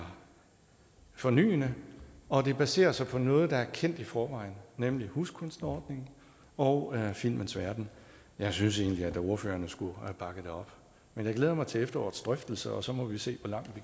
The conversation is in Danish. fornyende og det baserer sig på noget der er kendt i forvejen nemlig huskunstnerordningen og filmens verden jeg synes egentlig at ordførerne skulle have bakket det op men jeg glæder mig til efterårets drøftelser og så må vi se hvor langt